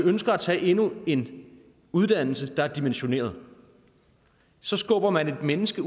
ønsker at tage endnu en uddannelse der er dimensioneret så skubber man et menneske